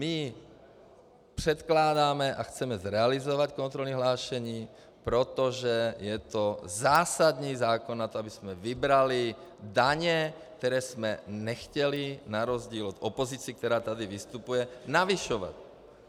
My předkládáme a chceme zrealizovat kontrolní hlášení, protože je to zásadní zákon na to, abychom vybrali daně, které jsme nechtěli na rozdíl od opozice, která tady vystupuje, navyšovat.